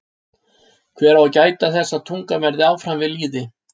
Hver á að gæta þess að tungan verði áfram við lýði?